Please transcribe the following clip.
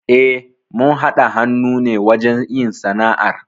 Eh, mun haɗa hannu ne wajen yin sana'ar.